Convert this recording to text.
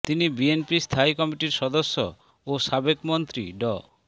তিনি বিএনপির স্থায়ী কমিটির সদস্য ও সাবেক মন্ত্রী ড